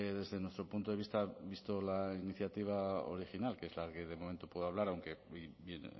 desde nuestro punto de vista vista la iniciativa original que es la que de momento puedo hablar aunque bien